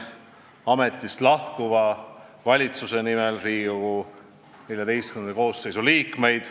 Ametist lahkuva valitsuse nimel õnnitlen Riigikogu XIV koosseisu liikmeid.